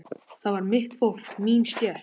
Það var mitt fólk, mín stétt.